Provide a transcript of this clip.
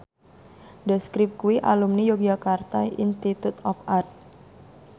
The Script kuwi alumni Yogyakarta Institute of Art